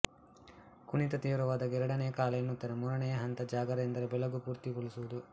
ಕುಣಿತ ತೀವ್ರವಾದಾಗ ಎರಡನೇಯ ಕಾಲ ಎನ್ನುತ್ತಾರೆ ಮೂರನೇಯ ಹಂತ ಜಾಗರ ಎಂದರೆ ಬೆಳಗು ಪೂರ್ತಿ ಕುಣಿಯುವುದು